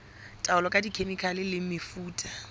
taolo ka dikhemikhale le mefuta